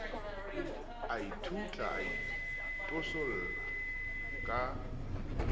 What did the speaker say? a ithutla a itosolla ka